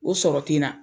O sɔrɔ ten n na